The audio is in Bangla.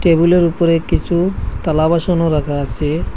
টেবিল -এর উপরে কিছু তালা বাসনও রাখা আসে।